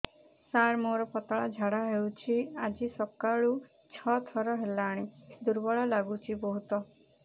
ସାର ମୋର ପତଳା ଝାଡା ହେଉଛି ଆଜି ସକାଳୁ ଛଅ ଥର ହେଲାଣି ଦୁର୍ବଳ ଲାଗୁଚି ବହୁତ